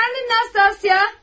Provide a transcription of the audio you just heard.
Əfəndim Nastasya!